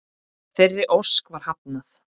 Þeirri ósk var hafnað.